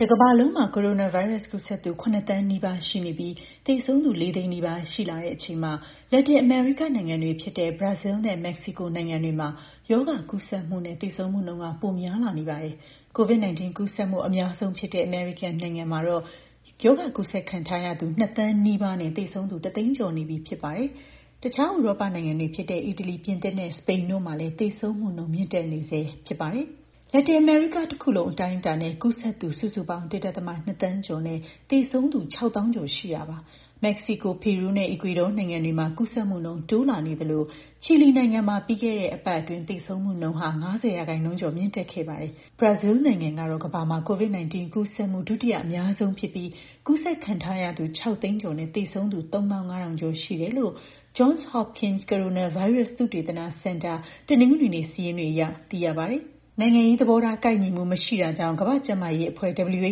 တကမ္ဘာလုံးမှာ ကိုရိုနာဗိုင်းရပ်စ် ကူးစက်သူ ၇ သန်းနီးပါးရှိနေပြီး သေဆုံးသူ ၄ သိန်းနီးပါး ရှိလာတဲ့အချိန်မှာ လက်တင်အမေရိကနိုင်ငံတွေ ဖြစ်တဲ့ ဘရာဇီးနဲ့ မက္ကဆီကို နိုင်ငံတွေမှာ ရောဂါကူးစက်မှုနဲ့ သေဆုံးမှုနှုန်း ပိုများလာနေပါတယ်။ COVID-19 ကူးစက်မှု အများဆုံးဖြစ်တဲ့ အမေရိကန်နိုင်ငံမှာတော့ ကူးစက်ခံထားရသူ ၂ သန်းနီးပါးနဲ့ သေဆုံးသူ ၁ သိန်းကျော်နေပြီ ဖြစ်ပါတယ်။ တခြား ဥရောပနိုင်ငံတွေဖြစ်တဲ့ အီတလီ၊ ပြင်သစ်နဲ့ စပိန်တို့မှာလည်း သေဆုံးမှုနှုန်း မြင့်တက်နေဆဲ ဖြစ်ပါတယ်။ လက်တင်အမေရိကတခုလုံး အတိုင်းအတာနဲ့ ကူးစက်သူ စုစုပေါင်း ၁.၂ သန်းကျော်နဲ့ သေဆုံးသူ ၆၀,၀၀၀ ကျော်ရှိတာပါ။ မက္ကဆီကို၊ ပီရူးနဲ့ အီကွေဒေါနိုင်ငံတွေမှာ ကူးစက်မှုနှုန်း တိုးလာနေသလို ချီလီနိုင်ငံမှာ ပြီးခဲ့တဲ့ အပတ်အတွင်း သေဆုံးမှုနှုန်း ၅၀ ရာခိုင်နှုန်းကျော် မြင့်တက်ခဲ့ပါတယ်။ ဘရာဇီးနိုင်ငံက ကမ္ဘာမှာ COVID-19 ကူးစက်မှု ဒုတိယအများဆုံးဖြစ်ပြီး ကူးစက်ခံထားရသူ ၆ သိန်းကျော်နဲ့ သေဆုံးသူ ၃၅,၀၀၀ ကျော်ရှိတယ်လို့ Johns Hopkins ကိုရိုနာဗိုင်းရပ်စ် သုတေသနစင်တာ တနင်္ဂနွေနေ့ စာရင်းတွေအရ သိရပါတယ်။ နိုင်ငံရေးသဘောထား ကိုက်ညီမှု မရှိတာကြောင့် ကမ္ဘာ့ကျန်းမာရေးအဖွဲ့ (WHO) ကနေ ဘ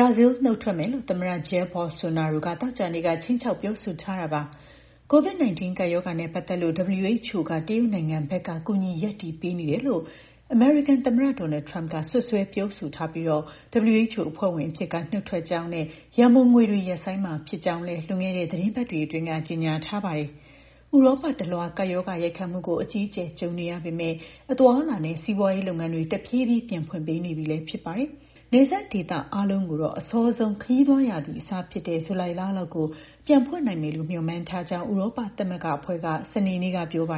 ရာဇီး နုတ်ထွက်မယ်လို့ သမ္မတ Jair Bolsonaro က သောကြာနေ့က ခြိမ်းခြောက် ပြောဆိုထားတာပါ။ COVID-19 ကပ်ရောဂါနဲ့ ပတ်သက်လို့ WHO က တရုတ်နိုင်ငံဘက်က ကူညီရပ်တည်ပေးနေတယ်လို့ သမ္မတ Donald Trump ကလည်း စွပ်စွဲပြောဆိုထားပြီး WHO အဖွဲ့ဝင်အဖြစ်က နုတ်ထွက်ကြောင်းနဲ့ ရန်ပုံငွေတွေကို ရပ်ဆိုင်းမှာဖြစ်ကြောင်းလည်း လွန်ခဲ့တဲ့ သီတင်းပတ်တွေအတွင်းက ကြေညာထားပါတယ်။ ဥရောပတလွှား ကပ်ရောဂါရိုက်ခတ်မှုကို အကြီးအကျယ် ကြုံနေရပေမယ့် အသွားအလာနဲ့ စီးပွားရေးလုပ်ငန်းတွေ တဖြည်းဖြည်း ပြန်ဖွင့်ပေးနေပြီ ဖြစ်ပါတယ်။ တချို့နိုင်ငံတွေမှာ နယ်စပ်တွေ ပြန်ဖွင့်ပေးနေပေမယ့် နယ်စပ်ဒေသ အားလုံးကိုတော့ အစောဆုံး ခရီးသွားရာသီ အစဖြစ်တဲ့ ဇူလိုင်လလောက်ကို ပြန်ဖွင့်နိုင်မယ်လို့ မျှော်မှန်းထားကြောင်း ဥရောပသမဂ္ဂအဖွဲ့က စနေနေ့က ပြောပါ